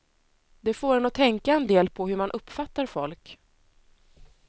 Det får en att tänka en del på hur man uppfattar folk.